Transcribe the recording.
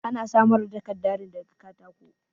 Ana samar da takarda ne da ga katako.